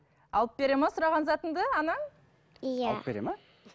алып бере ме сұраған затыңды анаң иә алып бере ме